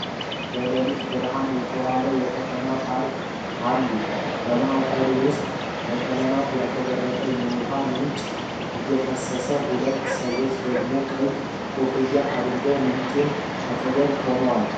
በሌሊት ብርሃን የተዋበ የከተማ ፓርክ አሉ። በማዕከሉ ውስጥ በቀለማት ያሸበረቀ የውሃ ምንጭ እየፈሰስ ፤ ሁለት ሰዎች ደግሞ ቀይ ኮፍያ አድርገው ምንጩ አጠገብ ቆመዋል።